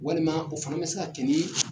Walima o fana be se ka kɛ ni